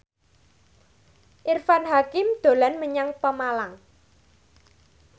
Irfan Hakim dolan menyang Pemalang